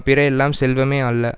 பிற எல்லாம் செல்வமே அல்ல